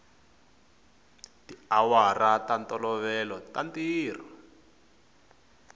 tiawara ta ntolovelo ta ntirho